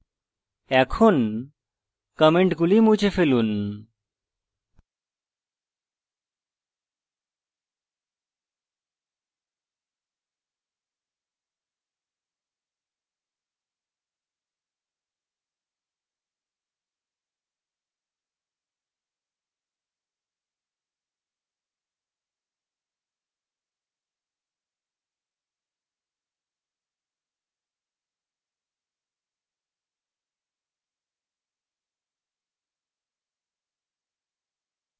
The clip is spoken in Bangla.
এখন কমেন্টগুলি মুছে ফেলুন